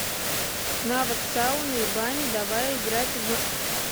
навык сауны и бани давай играть в